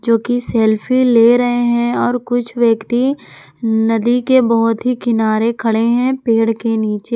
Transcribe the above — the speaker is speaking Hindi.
जो कि सेल्फी ले रहे हैं और कुछ व्यक्ति नदी के बहोत ही किनारे खड़े हैं पेड़ के नीचे।